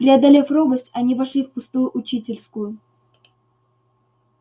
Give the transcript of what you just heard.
преодолев робость они вошли в пустую учительскую